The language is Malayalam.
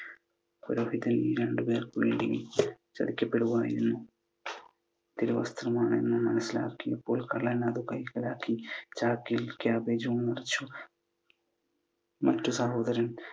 പുരോഹിതൻ ഈ രണ്ടു പേർക്ക് വേണ്ടി ചതിക്കപ്പെടുവായിരുന്നു . തിരുവസ്ത്രമാണെന്നു മനസ്സിലാക്കിയപ്പോൾ കള്ളൻ അത് കൈക്കലാക്കി ചാക്കിൽ കാബേജ് മുറിച്ചു. മറ്റു സഹോദരൻ